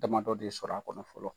Damadɔ de sɔrɔ a kɔnɔ fɔlɔ.